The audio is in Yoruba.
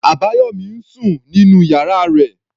Abayomi ń sùn nínú ìyára rẹ̀.